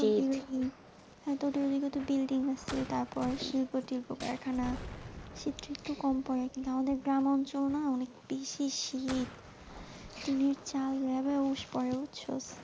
হ্যাঁ তোদের ওই দিকে তো building আছে, শিল্প-টিলপ কারখানা শীত-টিত তো কম পরে, আমাদের গ্রাম অঞ্চল না অনেক বেশি শীত, টিনের চাল উস পরে বুঝছো?